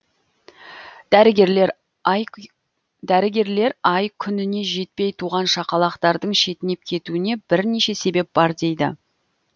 дәрігерлер ай күніне жетпей туған шақалақтардың шетінеп кетуіне бірнеше себеп бар дейді